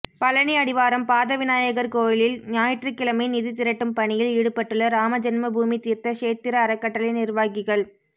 பழனி அடிவாரம் பாதவிநாயகா் கோயிலில் ஞாயிற்றுக்கிழமை நிதி திரட்டும் பணியில் ஈடுபட்டுள்ள ராமஜென்மபூமி தீா்த்த ஷேத்திர அறக்கட்டளை நிா்வாகிகள்